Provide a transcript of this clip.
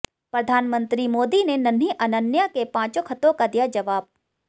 प्रधानमंत्री मोदी ने नन्ही अनन्या के पांचों खतों का दिया जवाब